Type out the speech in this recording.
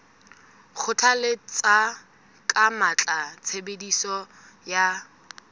kgothalletsa ka matla tshebediso ya